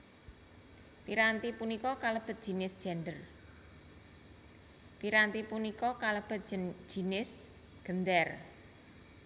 Piranti punika kalebet jinis Gendèr